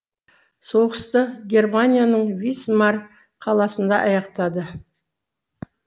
соғысты германияның висмар қаласында аяқтады